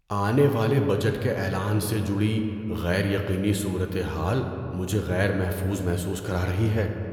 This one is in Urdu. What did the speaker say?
آنے والے بجٹ کے اعلان سے جڑی غیر یقینی صورتحال مجھے غیر محفوظ محسوس کرا رہی ہے۔